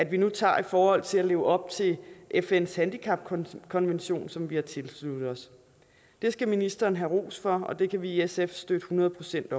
vi nu tager i forhold til at leve op til fns handicapkonvention som vi har tilsluttet os det skal ministeren have ros for og det kan vi i sf støtte hundrede procent